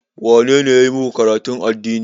Wane ne ya yi maku karatun addini?